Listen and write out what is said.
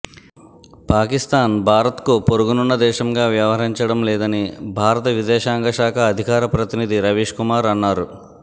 పాకిస్థాన్ భారత్కు పొరుగునున్న దేశంగా వ్యవహరించడం లేదని భారత విదేశాంగ శాఖ అధికార ప్రతినిధి రవీశ్కుమార్ అన్నారు